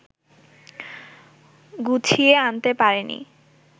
গুছিয়ে আনতে পারেনি